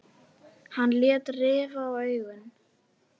Hann lét rifa í augun.